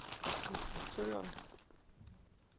instruktøren